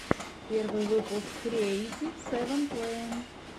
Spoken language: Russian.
первый выпуск креэйтив сэвэн плэя